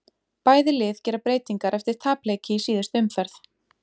Bæði lið gera breytingar eftir tapleiki í síðustu umferð.